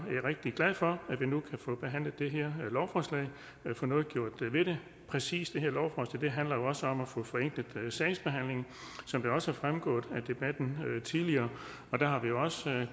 rigtig glad for at vi nu kan få behandlet det her lovforslag og få noget gjort ved det præcis det her lovforslag handler jo også om at få forenklet sagsbehandlingen som det også er fremgået af debatten tidligere har vi også